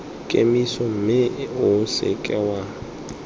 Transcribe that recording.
kemiso mme o seke wa